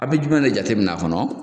A be jumɛn de jatemin na fɔ